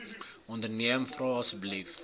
onderneem vra asseblief